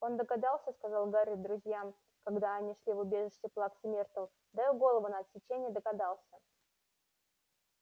он догадался сказал гарри друзьям когда они шли в убежище плаксы миртл даю голову на отсечение догадался